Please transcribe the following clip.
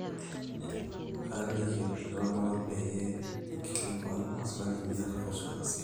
kaaliki olkitok lang peyie inkilikuan maswali niata kuusu ena siai